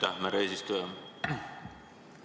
Aitäh, härra eesistuja!